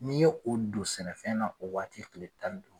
N'i ye o don sɛnɛfɛn na o waati tile tan ni du